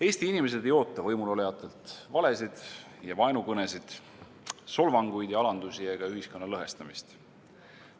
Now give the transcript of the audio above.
Eesti inimesed ei oota võimulolijatelt valesid ja vaenukõnesid, solvanguid ja alandusi ega ühiskonna lõhestamist.